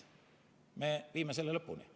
Me viime selle lõpuni.